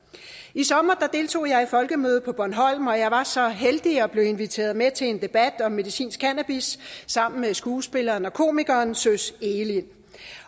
i sommer deltog jeg i folkemødet på bornholm og jeg var så heldig at blive inviteret med til en debat om medicinsk cannabis sammen med skuespilleren og komikeren søs egelind